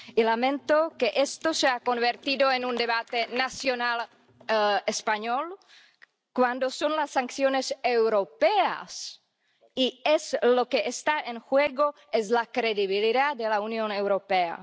Y lamento que esto se haya convertido en un debate nacional español, cuando se trata de las sanciones europeas y lo que está en juego es la credibilidad de la Unión Europea.